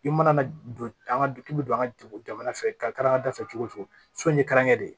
I mana don an ka du k'i bɛ don an ka dugu jamana fɛ karangada fɛ cogo min karankɛ de